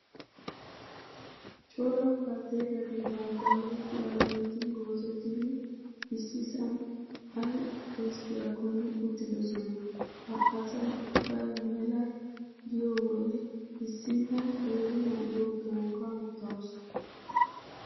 Cora baltteetati bantta huuphiyaa loyitti goozettidi issisan ayi ezggiyaakkonne uttidosona. Ha asayi ubbayi mela diyoo wode issinna qeeri na'iyoo tookka uttaasu.